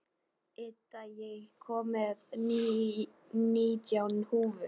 Ida, ég kom með nítján húfur!